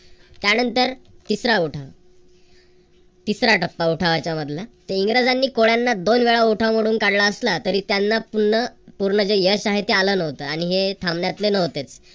त्यानंतर तिसरा उठाव. तिसरा टप्पा उठावाच्या मधला इंग्रजांनी कोळ्यांना दोन वेळा उठाव मोडून काढला असला तरी त्यांना पुन्हा पूर्ण जे यश आहे ते आल नव्हत. आणि हे थांबण्यातले नव्हतेच.